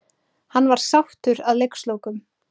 Hann var sáttur að leikslokum.